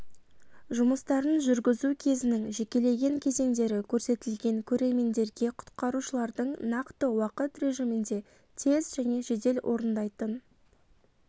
жұмыстарын жүргізу кезінің жекелеген кезеңдері көрсетілген көрермендерге құтқарушылардың нақты уақыт режимінде тез және жедел орындайтын